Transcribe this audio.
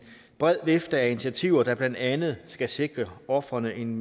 bred vifte af initiativer der blandt andet skal sikre ofrene en